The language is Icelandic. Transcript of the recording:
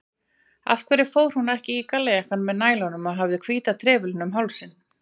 Af hverju fór hún ekki í gallajakkann með nælunum og hafði hvíta trefilinn um hálsinn?